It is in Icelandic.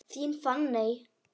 Þín Fanney.